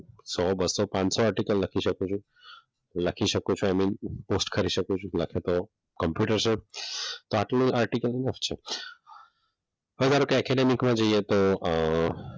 સો, બસો, પાંચસો આર્ટીકલ લખી શકું છું લખી શકો છો અને પોસ્ટ કરું શકું છું લખે તો કોમ્પ્યુટર્સ જ તો આટલો આર્ટીકલ છે હવે ધારો કે એકેડેમિકમાં જઈએ તો,